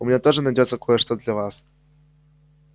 у меня тоже найдётся кое-что для вас